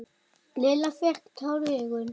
Lilla fékk tár í augun.